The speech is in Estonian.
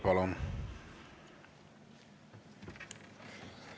Palun!